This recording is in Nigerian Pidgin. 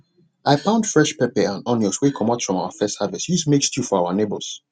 i pound fresh pepper and onions wey comot from our first harvest use make stew for our neighbors